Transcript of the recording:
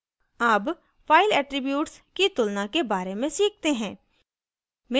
अब file attributes की तुलना के बारे में सीखते हैं